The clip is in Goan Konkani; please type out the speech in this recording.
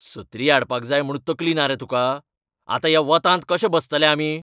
सत्री हाडपाक जाय म्हूण तकली ना रे तुका? आतां ह्या वोतांत कशें बसतले आमी?